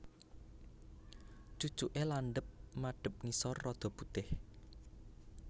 Cucuke landhep madhep ngisor rada putih